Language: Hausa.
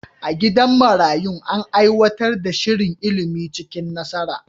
A gidan marayun, an aiwatar da shirin ilimi cikin nasara.